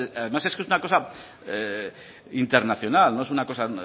además es que es una cosa internacional no es una cosa